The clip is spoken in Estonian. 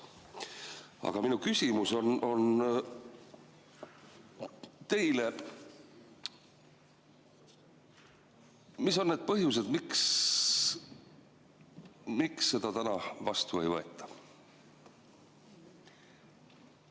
Aga minu küsimus on teile: mis on need põhjused, miks seda täna vastu ei võeta?